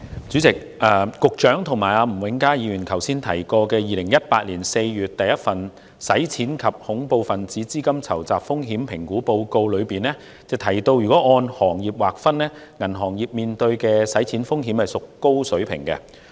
主席，局長和吳永嘉議員剛才提及2018年4月公布的第一份《香港的洗錢及恐怖分子資金籌集風險評估報告》，當中提到如果按行業劃分，銀行業面對的洗錢風險屬高水平。